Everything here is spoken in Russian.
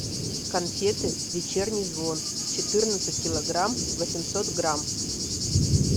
конфеты вечерний звон четырнадцать килограмм восемьсот грамм